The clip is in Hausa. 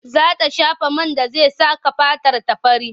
Za ta shafa man da zai saka fatarta fari.